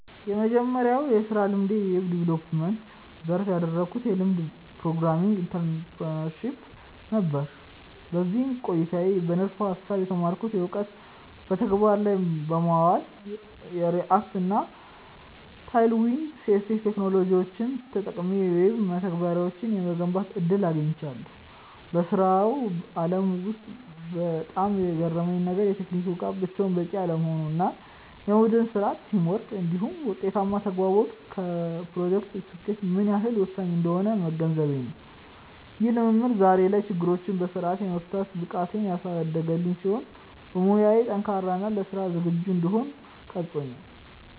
የመጀመሪያው የሥራ ልምዴ በዌብ ዲቨሎፕመንት (Web Development) ዘርፍ ያደረግኩት የልምምድ ፕሮግራም (Internship) ነበር። በዚህ ቆይታዬ በንድፈ-ሐሳብ የተማርኩትን እውቀት በተግባር ላይ በማዋል፣ የReact እና Tailwind CSS ቴክኖሎጂዎችን ተጠቅሜ የዌብ መተግበሪያዎችን የመገንባት ዕድል አግኝቻለሁ። በሥራው ዓለም ውስጥ በጣም የገረመኝ ነገር፣ የቴክኒክ ብቃት ብቻውን በቂ አለመሆኑ እና የቡድን ሥራ (Teamwork) እንዲሁም ውጤታማ ተግባቦት ለፕሮጀክቶች ስኬት ምን ያህል ወሳኝ እንደሆኑ መገንዘቤ ነው። ይህ ልምድ ዛሬ ላይ ችግሮችን በሥርዓት የመፍታት ብቃቴን ያሳደገልኝ ሲሆን፣ በሙያዬ ጠንካራ እና ለሥራ ዝግጁ እንድሆን ቀርጾኛል።